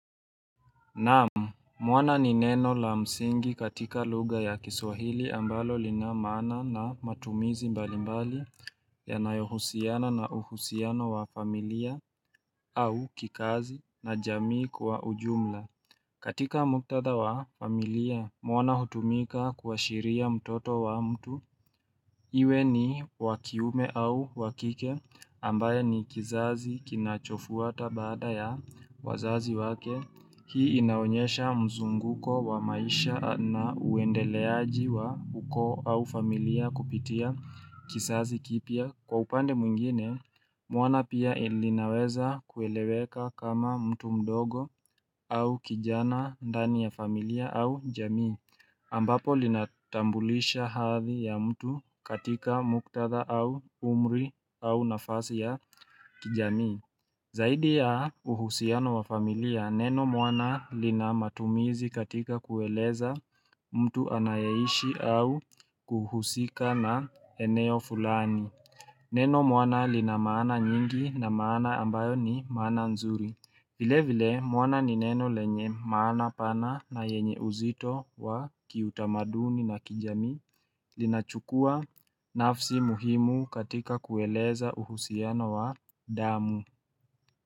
Naam mwana ni neno la msingi katika lugha ya kiswahili ambalo lina maana na matumizi mbali mbali yanayohusiana na uhusiano wa familia au kikazi na jamii kwa ujumla katika muktatha wa familia mwana hutumika kuashiria mtoto wa mtu Iwe ni wa kiume au wa kike ambaye ni kizazi kinachofuata baada ya wazazi wake. Hii inaonyesha mzunguko wa maisha na uendeleaji wa ukoo au familia kupitia kizazi kipya. Kwa upande mwingine, mwana pia linaweza kueleweka kama mtu mdogo au kijana ndani ya familia au jamii ambapo linatambulisha hathi ya mtu katika muktatha au umri au nafasi ya kijamii Zaidi ya uhusiano wa familia, neno mwana lina matumizi katika kueleza mtu anayeishi au kuhusika na eneo fulani Neno mwana lina maana nyingi na maana ambayo ni maana nzuri. Vile vile mwana ni neno lenye maana pana na yenye uzito wa kiutamaduni na kijamii linachukua nafsi muhimu katika kueleza uhusiano wa damu.